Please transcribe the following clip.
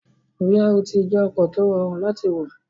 BRT jẹ́ ọkọ̀ tí ó rọrùn láti wọ̀